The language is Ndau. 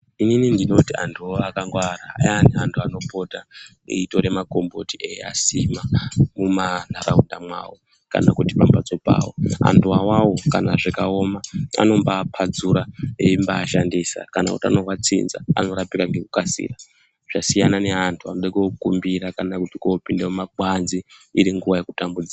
Inini ndinoti antuwo akangwara ayani anhu anopota eitore makomboti eiasima mumanharaunda mwawo kana kuti pambatso pawo. Antu awawo kana zvikawoma anombaapatsura eimbaashandisa kana utano hwatsinza anorapika ngekukasira. Zvasiyana neantu anode kookumbira kana kuti koopinde mumakwanzi iri nguwa yekutambudzika.